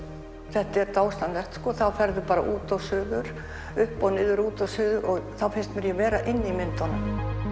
þetta er dásamlegt þá ferðu bara út og suður upp og niður út og suður og þá finnst mér ég vera inni í myndunum